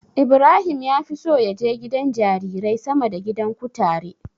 Ibrahim ya fi so ya je gidan jarirai sama da gidan kutare.